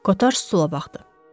Qotar sola baxdı.